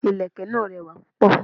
Ìlẹ̀kẹ̀ náà rẹwà púpọ̀.